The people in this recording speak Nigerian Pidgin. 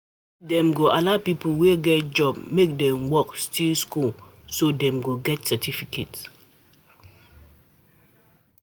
If dey allow people wey get job make Dem work still school so Dem go get certificate